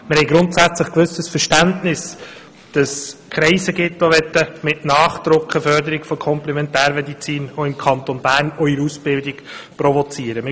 Wir haben grundsätzlich ein gewisses Verständnis dafür, dass es Kreise gibt, die mit Nachdruck eine Förderung der Komplementärmedizin im Kanton Bern auch in der Ausbildung provozieren möchten.